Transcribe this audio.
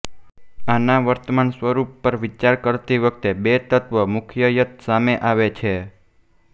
આના વર્તમાન સ્વરૂપ પર વિચાર કરતી વખતે બે તત્વ મુખ્યત સામે આવે છે